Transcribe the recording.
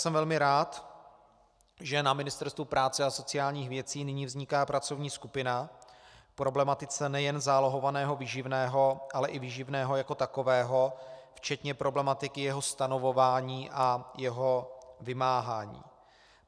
Jsem velmi rád, že na Ministerstvu práce a sociálních věcí nyní vzniká pracovní skupina k problematice nejen zálohovaného výživného, ale i výživného jako takového včetně problematiky jeho stanovování a jeho vymáhání.